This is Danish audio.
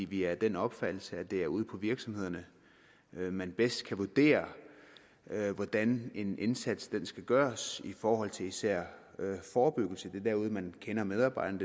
vi er af den opfattelse at det er ude på virksomhederne man bedst kan vurdere hvordan en indsats skal gøres i forhold til især forebyggelse det er derude man kender medarbejderne